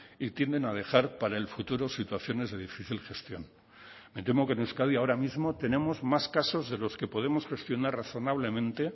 y tienden a dejar para el futuro situaciones de difícil gestión me temo que en euskadi ahora mismo tenemos más casos de los que podemos gestionar razonablemente